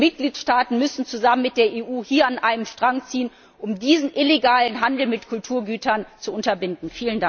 Die Mitgliedstaaten müssen zusammen mit der EU hier an einem Strang ziehen, um diesen illegalen Handel mit Kulturgütern zu unterbinden.